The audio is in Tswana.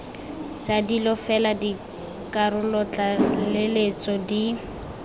tsa dilo fela dikarolotlaleletso di